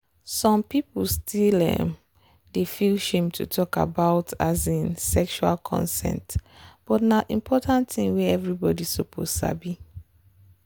some people still um dey feel shame to talk about um sexual consent but na important thing wey everybody suppose sabi.